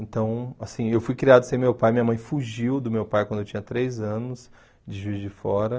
Então, assim, eu fui criado sem meu pai, minha mãe fugiu do meu pai quando eu tinha três anos, de Juiz de Fora.